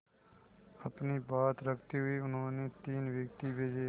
अपनी बात रखते हुए उन्होंने तीन व्यक्ति भेजे